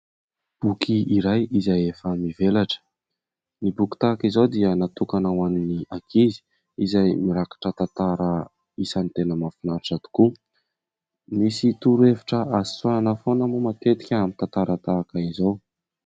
Boky iray izay efa mivelatra. Ny boky tahak'izao dia natokana ho an'ny ankizy, izay mirakitra tantara isan'ny tena mafinanitra tokoa. Misy torohevitra azo tsoahina foana mo matetika amin'ny tantara tahak'izao.